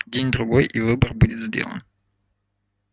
день-другой и выбор будет сделан